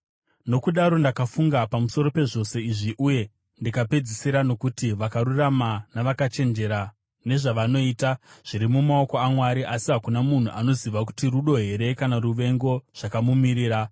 Nokudaro ndakafunga pamusoro pezvose izvi uye ndikapedzisira nokuti vakarurama navakachenjera, nezvavanoita zviri mumaoko aMwari, asi hakuna munhu anoziva kuti rudo here kana ruvengo zvakamumirira.